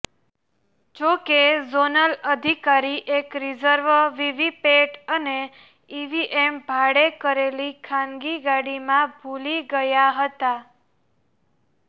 જોકે ઝોનલ અધિકારી એક રિઝર્વ વીવીપેટ અને ઇવીએમ ભાડે કરેલી ખાનગી ગાડીમાં ભૂલી ગયા હતાં